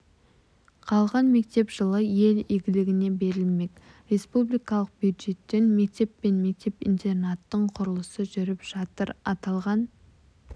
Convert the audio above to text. қалған мектеп жылы ел игілігіне берілмек республикалық бюджеттен мектеп пен мектеп-интернаттың құрылысы жүріп жатыр аталған